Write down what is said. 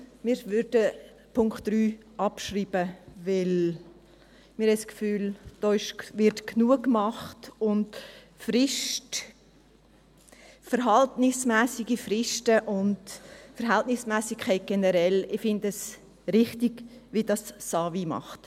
Wir würden den Punkt 3 abschreiben, weil wir das Gefühl haben, dass da genug gemacht wird und dass verhältnismässige Fristen und die Verhältnismässigkeit generell … Ich finde es richtig, wie es das AWI macht.